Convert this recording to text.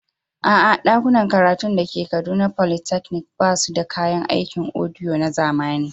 A'a, ɗakunan karatun da ke Kaduna Polytechnic ba su da kayan aikin audio na zamani.